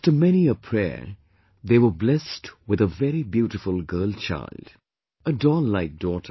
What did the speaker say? After many a prayer, they were blessed with a very beautiful girl child...a doll like daughter